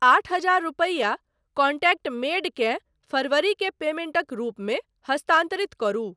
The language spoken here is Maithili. आठ हजार रुपैया कॉन्टैक्ट मैड केँ फरवरी के पेमेंटक रूपमे हस्तान्तरित करू।